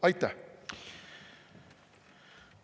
Aitäh!